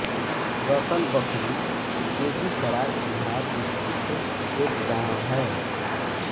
रतन बखरी बेगूसराय बिहार स्थित एक गाँव है